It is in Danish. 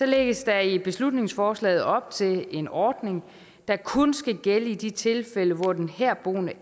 lægges der i beslutningsforslaget op til en ordning der kun skal gælde i de tilfælde hvor den herboende